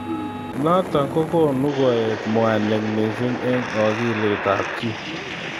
Notok ko konu koet mwanik missing eng akilit ab chi.